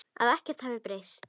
Að ekkert hefði breyst.